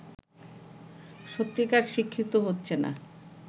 সত্যিকার শিক্ষিত হচ্ছে না